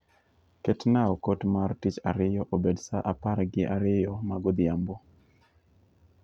Ketna okot mar Tich Ariyo obed saa apar gi ariyo ma godhiambo.